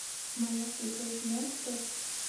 моя свекровь монстр